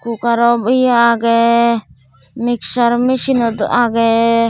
cookero eyo agey mixer machinenot agey.